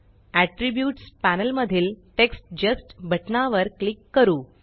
attributes panel मधील text just text just बटनावर click करू